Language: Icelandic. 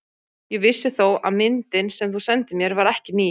Ég vissi þó að myndin, sem þú sendir mér, var ekki ný.